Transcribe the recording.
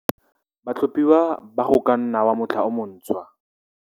Batlhophiwa ba Go ka nna wa Motlha o Montshwa